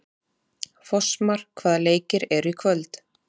Fossmar, hvaða leikir eru í kvöld?